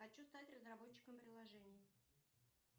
хочу стать разработчиком приложений